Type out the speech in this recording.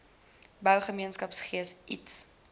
bou gemeenskapsgees iets